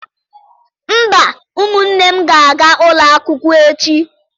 Mba, ụmụnne m ga-aga ụlọ akwụkwọ echi.